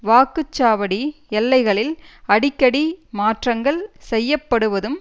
வாக்குச்சாவடி எல்லைகளில் அடிக்கடி மாற்றங்கள் செய்யப்படுவதும்